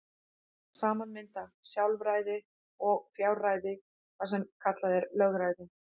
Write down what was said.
Saman mynda sjálfræði og fjárræði það sem kallað er lögræði.